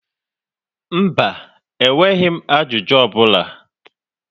Mba, enweghị m ajụjụ ọ bụla.